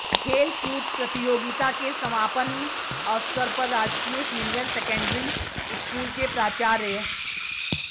खेलकूद प्रतियोगिता के समापन्न अवसर पर राजकीय सीनियर सैंकडऱी स्कूल के प्राचार्य